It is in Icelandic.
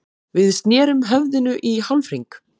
Við snerum höfðinu í hálfhring.